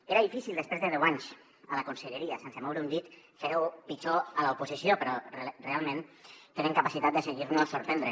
era difícil després de deu anys a la conselleria sense moure un dit fer ho pitjor a l’oposició però realment tenen capacitat de seguir nos sorprenent